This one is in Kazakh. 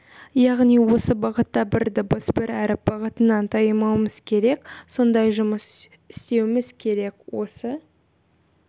яғни осы бағытта бір дыбыс бір әріп бағытынан таймауымыз керек сондай жұмыс істеуіміз керек осы